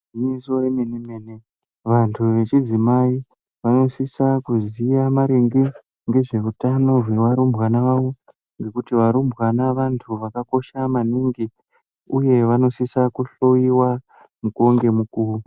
Iginyiso remene-mene, vantu vechidzimai vanosisa kuziya maringe ngezveutano zvearumbwana avo, ngekuti arumbwana antu akakosha maningi uye anosisa kuhloyiwa mukuwo ngemukuwo.